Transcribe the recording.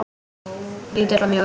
Lítill og mjór.